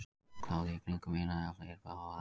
Kláði í kringum eina eða fleiri bláæðar.